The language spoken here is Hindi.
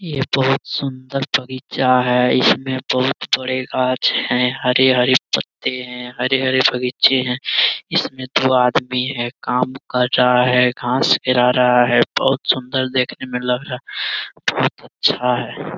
ये बहुत सुंदर बगीचा है इसमे बहुत हरे-हरे पत्ते हैं हरे-हरे बगीचे है इसमे दो आदमी है काम कर रहा है घास बहुत सुंदर देखने में लग रहा है बहुत अच्छा है।